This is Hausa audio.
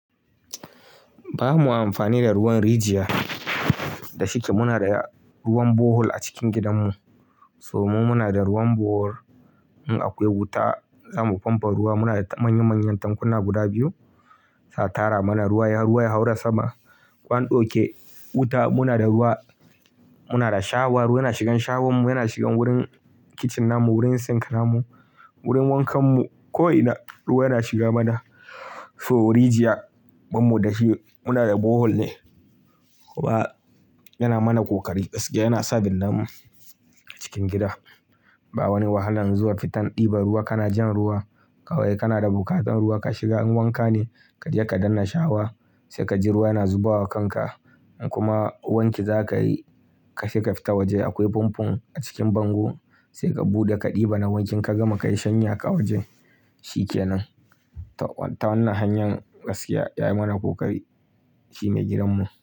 Ba ma amfani da ruwan rijiya da shike. Muna da ruwan bohol a cikin gidanmu, saboda mu muna da ruwan bohol. In akwai wuta za mu famfo ruwa. Muna da manya-manyan tankuna guda biyu, sai a tara mana ruwa ya haura sama. Ko an ɗauke wuta, muna da ruwa, muna da shawa. Ruwa yana shigan shawarmu, yana shigan wurin kicin namu, wurin sink namu, wurin wankanmu. Ko'ina ruwa yana shiga mana. To rijiya ban mu da shi, muna da bohol ne. Kuma yana mana ƙoƙari gaskiya, yana sa bindanamu a cikin gida. Ba wani wahala zuwa fitan ɗiba ruwa, kana jan ruwa kawai. Kana da buƙatar ruwa ka shiga, in wanka ne ka je ka danna shawa sai ka ji ruwa yana zubawa kanka. In kuma wanki za ka yi, ka je ka fita waje akwai famfo a cikin bango, sai ka buɗe ka ɗiba na wanki ka gama ka yi shanya ka waje shikenan. Ta wannan hanyar gaskiya ya yi mana ƙoƙari shi mai gidanmu.